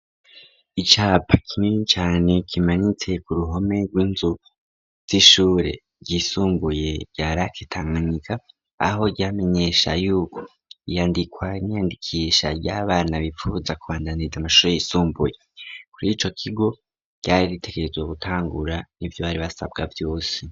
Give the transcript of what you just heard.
icyapa kimini cyane kimanitse ku ruhome rw'inzu z'ishure ryisumbuye ryaraketanganika aho ryamenyesha y'uko iyandikwa niandikisha ry'abana bipfuza kuandaniza amashuri yisumbuye kurico kigo ryari ritekerezwo gutangura n'ibyo bari basabwa byose